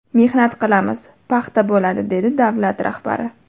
Mehnat qilamiz, paxta bo‘ladi”, dedi davlat rahbari.